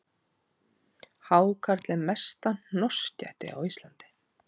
Hákarl er mesta hnossgæti á Íslandi